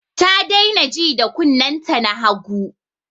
Ta daina ji da kunnen ta na hagu